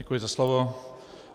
Děkuji za slovo.